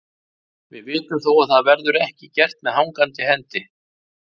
Við vitum þó að það verður ekki gert með hangandi hendi.